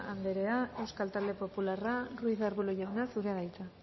anderea euskal talde popularra ruiz de arbulo jauna zurea da hitza